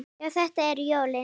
Já, þetta eru jólin!